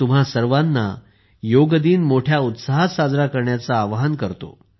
मी तुम्हा सर्वांना योग दिन मोठ्या उत्साहात साजरा करण्याचे आवाहन करतो